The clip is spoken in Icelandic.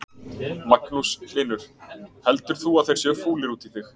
Magnús Hlynur: Heldur þú að þeir séu fúlir út í þig?